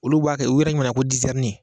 Olu b'a kɛ u yɛrɛ ɲimana ko dizɛrini